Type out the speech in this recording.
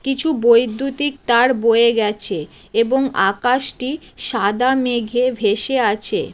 কিছু বৈদ্যুতিক তার বয়ে গেছে এবং আকাশটি সাদা মেঘে ভেসে আছে।